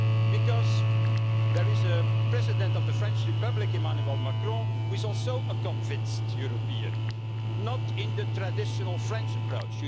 Because there is a President of the French Republic Emmanuel Macron who is also a convinced European, not in the traditional French approach.